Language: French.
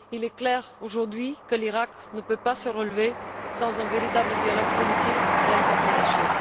Il est clair aujourd'hui que l'Iraq ne peut pas se relever sans un véritable dialogue politique et interreligieux.